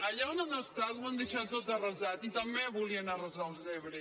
allà on han estat ho han deixat tot arrasat i també volien arrasar l’ebre